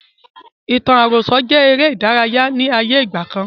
Ìtàn àròsọ jẹ eré ìdárayá ni ayé ìgbàkan.